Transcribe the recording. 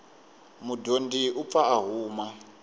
mudyondzi u pfa a huma